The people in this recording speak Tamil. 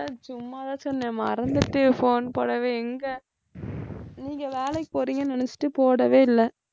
சும்மாதான் சொன்னேன் மறந்துட்டேன் phone போடவே எங்க நீங்க வேலைக்கு போறீங்கன்னு நினைச்சிட்டு போடவே இல்லை